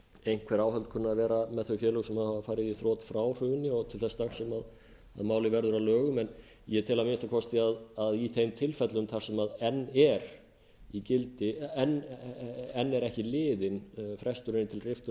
einhver áhöld kunna að vera um þau félög sem hafa farið í þrot frá hruni og til þess dags sem málið verður að lögum en ég tel að minnsta kosti að í þeim tilfellum þar sem enn er ekki liðinn fresturinn til riftunar